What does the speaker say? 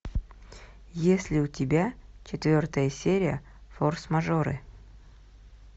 есть ли у тебя четвертая серия форс мажоры